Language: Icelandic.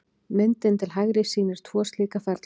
Myndin til hægri sýnir tvo slíka ferla.